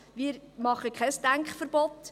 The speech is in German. Wir machen kein Denkverbot.